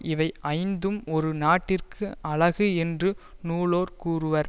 இவை ஐந்தும் ஒரு நாட்டிற்கு அழகு என்று நூலோர் கூறுவர்